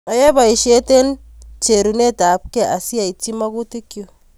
Ayae poisyet eng' cherunet ap key asiaitchi magutik chuk.